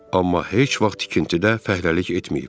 Amma heç vaxt tikintidə fəhləlik etməyib.